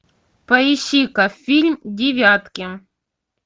поищи ка фильм девятки